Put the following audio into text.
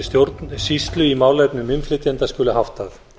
stjórnsýslu í málefnum innflytjenda skuli háttað